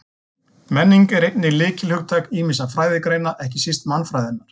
Menning er einnig lykilhugtak ýmissa fræðigreina, ekki síst mannfræðinnar.